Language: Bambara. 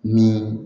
Ni